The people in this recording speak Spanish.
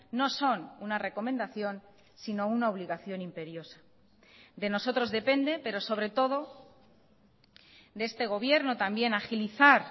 no son una recomendación sino una obligación imperiosa de nosotros depende pero sobre todo de este gobierno también agilizar